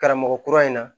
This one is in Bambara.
Karamɔgɔ kura in na